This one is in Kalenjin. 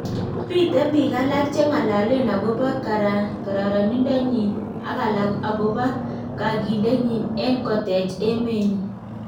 Miten biik alak cheng'alaleen akobo karaninda nyin ak alak akobo kakilenyin en koteech emeenyin